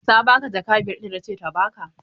Ta ba ka jaka biyar ɗin da na ce ta ba ka?